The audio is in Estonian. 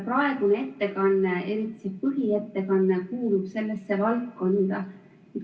Praegune ettekanne – eriti see põhiettekanne – kuulub sellesse valdkonda.